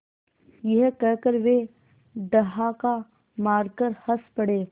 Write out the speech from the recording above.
यह कहकर वे ठहाका मारकर हँस पड़े